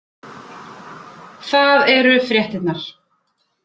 Það eru fréttirnar